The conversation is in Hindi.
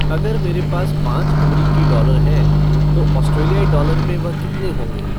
अगर मेरे पास पाँच अमरीकी डॉलर हैं ऑस्ट्रेलियाई डॉलर में वह कितने होंगे